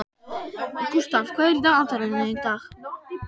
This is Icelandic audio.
Gústaf, hvað er í dagatalinu í dag?